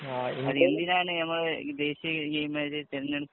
എന്തിനാണ് നമ്മള് ദേശിയ ഗെയിം ആയിട്ട് തെരെഞ്ഞെടുത്തെ